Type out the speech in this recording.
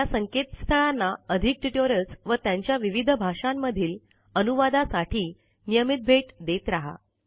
या संकेतस्थळांना अधिक ट्युटोरियल्स व त्यांच्या विविध भाषांमधील अनुवादासाठी नियमित भेट देत रहा